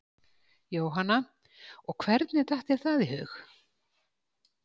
Jóhanna: Og hvernig datt þér það í hug?